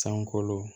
Sankolo